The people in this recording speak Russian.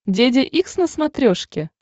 деде икс на смотрешке